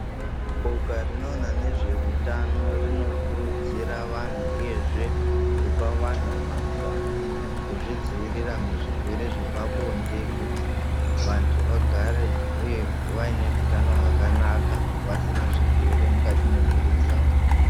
Boka rinoona nezvehutano rinokurudzira vanhu ,uyezve kupa vanhu mazano kuzvidzivirira muzvirwere zvepabonde kuti ,vanthu vagare uye vaine hutano hwakanaka vasina zvirwere mukati mwemwiri dzawo .